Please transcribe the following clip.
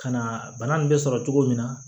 Ka na bana nin be sɔrɔ cogo min na